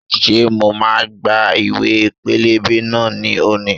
Ṣé mo máa gba ìwẹ̀ pẹlẹbẹ náà ni òní?